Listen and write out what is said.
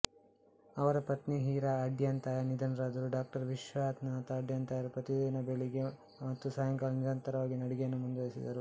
ಅವರ ಪತ್ನಿಹೀರಾ ಅಡ್ಯಂತಾಯ ನಿಧನರಾದರು ಡಾ ವಿಶ್ವನಾಥ ಅಡ್ಯಂತಾಯರು ಪ್ರತಿದಿನ ಬೆಳಿಗ್ಗೆ ಮತ್ತು ಸಾಯಂಕಾಲನಿರಂತರವಾಗಿ ನಡಿಗೆಯನ್ನು ಮುಂದುವರೆಸಿದ್ದರು